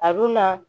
A dunna